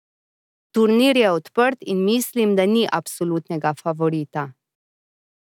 Turnir je odprt in mislim, da ni absolutnega favorita.